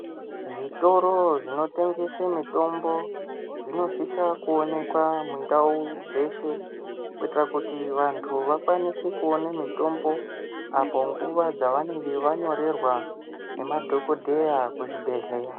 Zvitoro zvinotengese mutombo zvinosisa kuonekwa mundawu dzeshe kuitira kuti vantu vakwanise kuone mitombo apo nguva dzavanenge wanyorerwa nemadhokodheya kuzvibhedhleya.